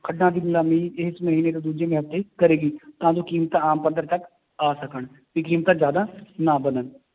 ਖੱਡਾਂ ਦੀ ਨਿਲਾਮੀ ਇਸ ਮਹੀਨੇ ਤੋਂ ਦੂਜੇ ਮਹੀਨੇ ਕਰੇਗੀ ਤਾਂ ਜੋ ਕੀਮਤਾਂ ਆਮ ਪੱਧਰ ਤੱਕ ਆ ਸਕਣ ਵੀ ਕੀਮਤਾਂ ਜ਼ਿਆਦਾ ਨਾ ਵੱਧਣ